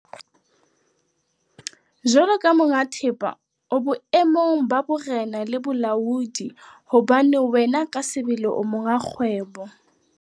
Jwalo ka monga thepa, o boemong ba borena le bolaodi hobane wena ka sebele o monga kgwebo.